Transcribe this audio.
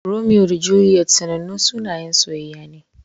Romeo da Juliet sanannun sunayen soyayya ne.